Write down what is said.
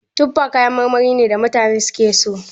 Tufa kayan marmari ne da mutane suke so.